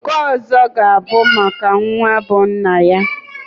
Nke ọzọ g'a bụ maka ya nwa bụ nna ya.